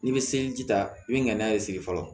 N'i bɛ seliji ta i bɛ na n'a ye sigi fɔlɔ